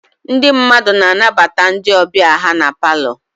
Ndị mmadụ na-anabata ndị ọbịa ha na palọ.